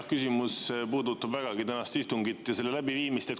Jah, küsimus puudutab vägagi tänast istungit ja selle läbiviimist.